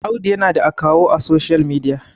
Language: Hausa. Audu yana da akawun a social media